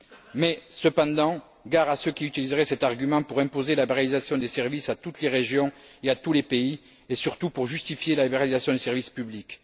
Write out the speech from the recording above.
Mais, cependant, gare à ceux qui utiliseraient cet argument pour imposer la libéralisation des services à toutes les régions et à tous les pays, et surtout pour justifier la libéralisation des services publics.